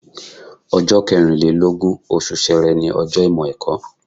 Ọjọ́ kẹrìn lé lógún, oṣù Ṣẹẹrẹ ni ọjọ́ Ìmọ̀-ẹ̀kọ́.